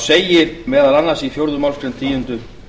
segir meðal annars í fjórðu málsgreinar tíundu